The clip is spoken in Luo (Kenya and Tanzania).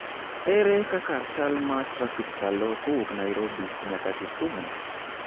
ere kaka chal ma trafik chalo kowuok Nairobi nyaka Kisumu?